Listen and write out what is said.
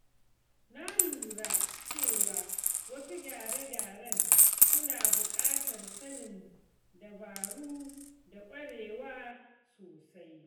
Na lura cewa wasu gyare-gyaren suna buƙatar sanin dabaru da ƙwarewa sosai.